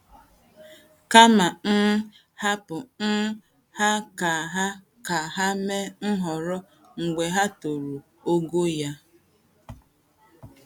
Kama um hapụ um ha ka ha ka ha mee nhọrọ mgbe ha toruru ogo ya. ”